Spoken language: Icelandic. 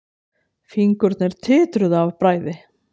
Fingurnir titruðu af bræði.